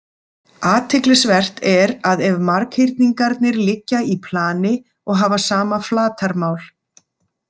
Athyglisvert er að ef marghyrningarnir liggja í plani og hafa sama flatarmál.